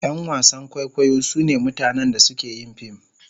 Yan wasan kwaikwayo sune mutanen da suke yin fim..